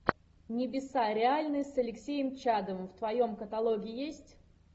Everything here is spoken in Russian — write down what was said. небеса реальны с алексеем чадовым в твоем каталоге есть